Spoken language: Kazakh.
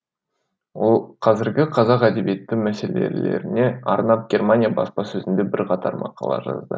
ол қазіргі қазақ әдебиеті мәселелеріне арнап германия баспасөзінде бірқатар мақала жазды